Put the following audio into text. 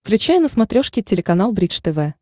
включай на смотрешке телеканал бридж тв